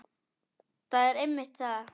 Það er einmitt það.